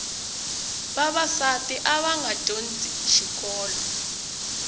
vavasati avanga dyondzi xikolo